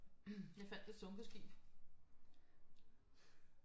Jeg fandt et sunket skib